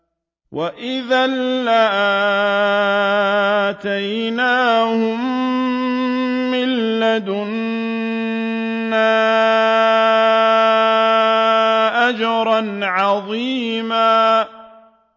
وَإِذًا لَّآتَيْنَاهُم مِّن لَّدُنَّا أَجْرًا عَظِيمًا